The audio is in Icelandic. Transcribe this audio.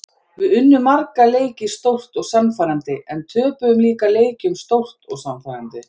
Við unnum marga leiki stórt og sannfærandi en töpuðum líka leikjum stórt og sannfærandi.